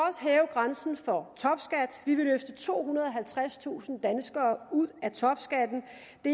grænsen for topskat vi vil løfte tohundrede og halvtredstusind danskere ud af topskatten